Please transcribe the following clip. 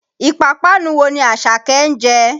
Ìpápánu wo ni Àṣàké ń jẹ?